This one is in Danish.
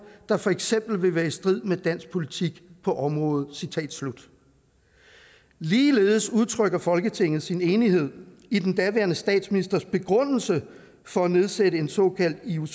der for eksempel vil være i strid med dansk politik på området ligeledes udtrykker folketinget sin enighed i den daværende statsministers begrundelse for at nedsætte en såkaldt ioc